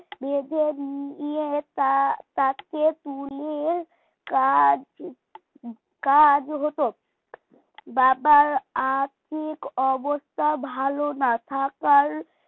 বেঁধে নিয়ে তা তাকে তুলে কাজ কাজ হতো বাবার আর্থিক অবস্থা ভালো না থাকার